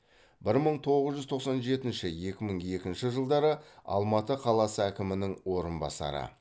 бір мың тоғыз жүз тоқсан жетінші екі мың екінші жылдары алматы қаласы әкімінің орынбасары